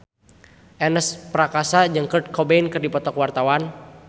Ernest Prakasa jeung Kurt Cobain keur dipoto ku wartawan